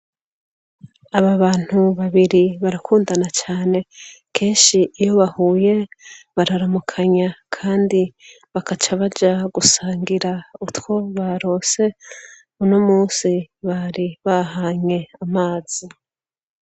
Aba bantu babiri barakundana cane kenshi iyo bahuye bararamukanya kandi bakaca baja gusangira utwo baronse uno munsi bari bahanye amazi